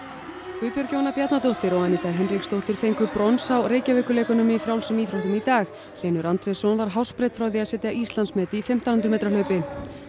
Guðbjörg Jóna Bjarnadóttir og Aníta Hinriksdóttir fengu brons á Reykjavíkurleikunum í frjálsum íþróttum í dag Hlynur Andrésson var hársbreidd frá því að setja Íslandsmet í fimmtán hundruð metra hlaupi